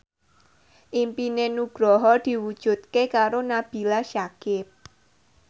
impine Nugroho diwujudke karo Nabila Syakieb